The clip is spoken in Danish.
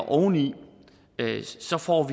oveni så får